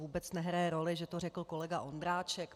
Vůbec nehraje roli, že to řekl kolega Ondráček.